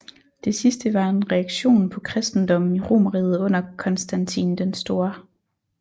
Det sidste var en reaktion på kristendommen i Romerriget under Konstantin den Store